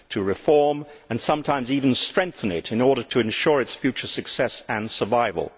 reform and sometimes even strengthen it in order to ensure its future success and survival.